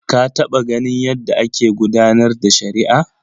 Ka taɓa ganin yadda ake gudanar da shari'a?